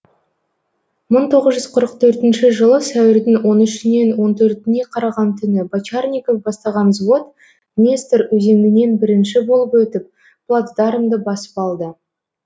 мың тоғыз жүз қырық төртінші жылы сәуірдің он үшінен он төртіне қараған түні бочарников бастаған взвод днестр өзенінен бірінші болып өтіп плацдармды басып алды